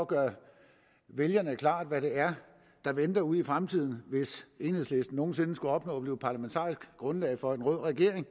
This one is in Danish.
gøre vælgerne klart hvad det er der venter ude i fremtiden hvis enhedslisten nogen sinde skulle opnå at blive parlamentarisk grundlag for en rød regering